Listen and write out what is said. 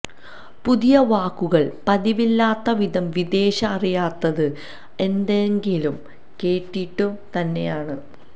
പുതിയ വാക്കുകൾ പതിവില്ലാത്തവിധം വിദേശ അറിയാത്തത് എന്തെങ്കിലും കേട്ടിട്ടു തന്നെയാണ്